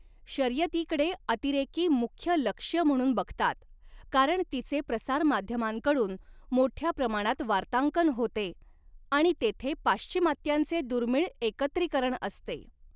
शर्यतीकडे अतिरेकी मुख्य लक्ष्य म्हणून बघतात, कारण तिचे प्रसारमाध्यमांकडून मोठ्या प्रमाणात वार्तांकन होते, आणि तेथे पाश्चिमात्त्यांचे दुर्मीळ एकत्रीकरण असते.